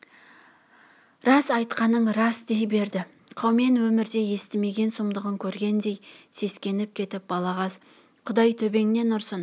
рас айтқаның рас дей берді қаумен өмірде естімеген сұмдығын көргендей сескеніп кетіп балағаз құдай төбеңнен ұрсын